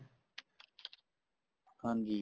ਹਾਂਜੀ